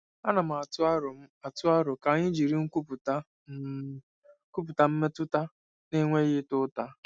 Ana m atụ aro m atụ aro ka anyị jiri nkwupụta “M” kwupụta mmetụta na-enweghị ịta ụta.